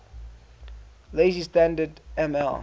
lazy standard ml